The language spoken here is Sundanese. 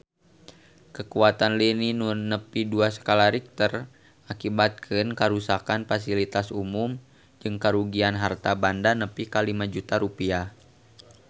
Kakuatan lini nu nepi dua skala Richter ngakibatkeun karuksakan pasilitas umum jeung karugian harta banda nepi ka 5 juta rupiah